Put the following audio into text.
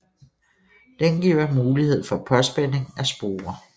Den giver mulighed for påspænding af sporer